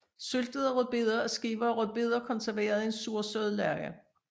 Syltede rødbeder er skiver af rødbeder konserveret i en sursød lage